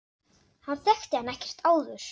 Hann þekkti hann ekkert áður.